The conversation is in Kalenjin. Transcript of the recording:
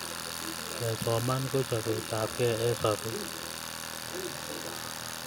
kesoman ko chapet apkei eng sapet